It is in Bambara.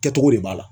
Kɛcogo de b'a la